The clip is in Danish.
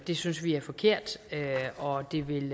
det synes vi er forkert og det vil